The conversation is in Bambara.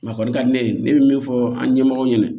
ka ne ye ne bɛ min fɔ an ɲɛmɔgɔ ɲɛna